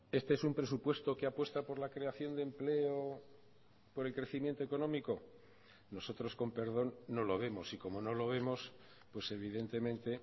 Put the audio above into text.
este es un presupuesto que apuesta por la creación de empleo por el crecimiento económico nosotros con perdón no lo vemos y como no lo vemos pues evidentemente